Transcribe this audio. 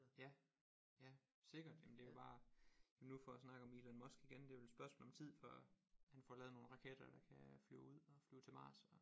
Ja ja sikkert jamen det er bare nu for at snakke om Elon Musk igen det er vel spørgsmål om tid før han får lavet nogle raketter der kan flyve ud og flyve til Mars og